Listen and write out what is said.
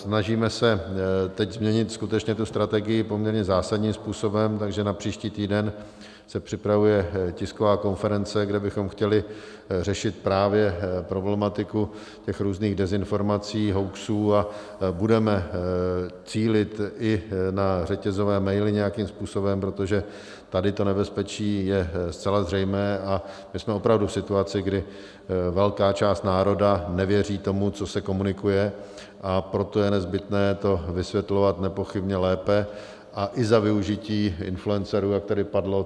Snažíme se teď změnit skutečně tu strategii poměrně zásadním způsobem, takže na příští týden se připravuje tisková konference, kde bychom chtěli řešit právě problematiku těch různých dezinformací, hoaxů, a budeme cílit i na řetězové maily nějakým způsobem, protože tady to nebezpečí je zcela zřejmé a my jsme opravdu v situaci, kdy velká část národa nevěří tomu, co se komunikuje, a proto je nezbytné to vysvětlovat nepochybně lépe a i za využití influencerů, jak tady padlo.